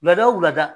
Lada o wulada